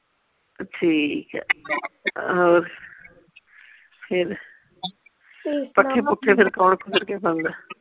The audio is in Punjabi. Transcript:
ਠੀਕ ਆ ਹੋਰ ਫੇਰ ਠੀਕ ਆ ਪੱਠੇ ਪੁੱਠੇ ਫੇਰ ਕੌਣ